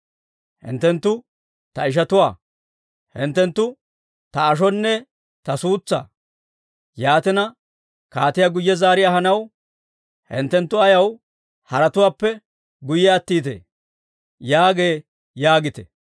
Hinttenttu ta ishatuwaa; hinttenttu ta ashonne ta suutsaa. Yaatina, kaatiyaa guyye zaari ahanaw hinttenttu ayaw haratuwaappe guyye attiitee?» yaagee› yaagite.